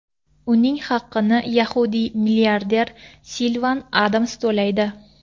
Uning haqini yahudiy milliarder Silvan Adams to‘laydi.